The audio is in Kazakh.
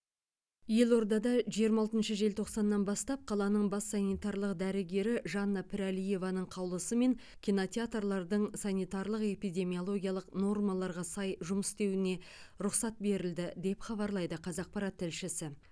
елордада жиырма алтыншы желтоқсаннан бастап қаланың бас санитарлық дәрігері жанна пірәлиеваның қаулысымен кинотеатрлардың санитарлық эпидемиологиялық нормаларға сай жұмыс істеуіне рұқсат берілді деп хабарлайды қазақпарат тілшісі